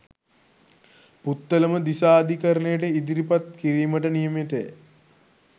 පුත්තලම දිසා අධිකරණයට ඉදිරිපත් කිරීමට නියමිතය.